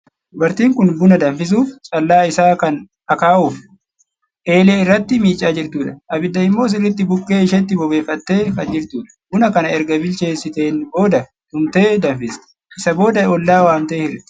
Dubartiin kun buna danfisuuf callaa isaa kan akaahuuf eelee irratti miicaa jirtudha. Abidda immoo sirriitti bukkee isheetti bobeeffattee kan jirtudha. Buna kana erga bilcheessiteen booda tumtee danfsti. Isa booda ollaa waamtee hirti.